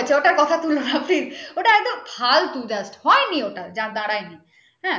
ওটার কথা তুলো না please ওটা একটা ফালতু just হয়নি ওটা যা দাঁড়ায়নি হাঁ